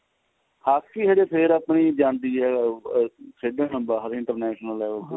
hockey ਹਜੇ ਫੇਰ ਆਪਣੀ ਜਾਂਦੀ ਏ ਆ ਖੇਡਣ ਬਾਹਰ international level ਤੇ